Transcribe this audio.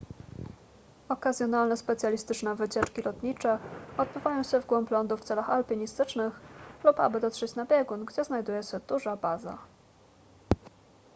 okazjonalne specjalistyczne wycieczki lotnicze odbywają się w głąb lądu w celach alpinistycznych lub aby dotrzeć na biegun gdzie znajduje się duża baza